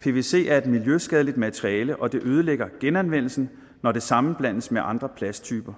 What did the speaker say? pvc er et miljøskadeligt materiale og det ødelægger genanvendelsen når det sammenblandes med andre plasttyper